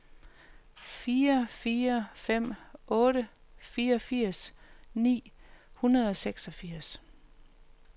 fire fire fem otte fireogfirs ni hundrede og seksogfirs